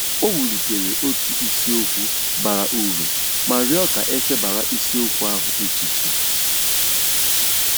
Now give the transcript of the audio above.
O welitere otu isiokwu bara uru ma rịọ ka e chebara isiokwu ahụ echiche.